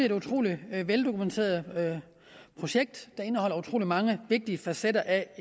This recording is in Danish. et utrolig veldokumenteret projekt der indeholder utrolig mange vigtige facetter